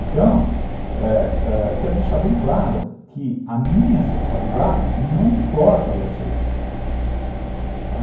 Então, ãh ãh eu quero deixar bem claro que a minha sexualidade não importa a vocês, tá.